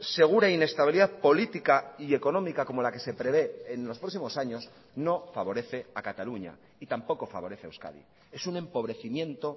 segura inestabilidad política y económica como la que se prevé en los próximos años no favorece a cataluña y tampoco favorece a euskadi es un empobrecimiento